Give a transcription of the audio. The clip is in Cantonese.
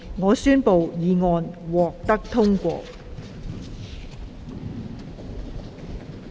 我宣布議案獲得通過。